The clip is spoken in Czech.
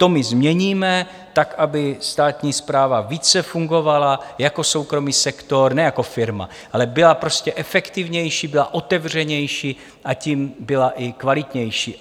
To my změníme tak, aby státní správa více fungovala jako soukromý sektor, ne jako firma, ale byla prostě efektivnější, byla otevřenější a tím byla i kvalitnější.